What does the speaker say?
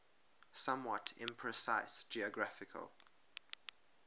somewhat imprecise geographical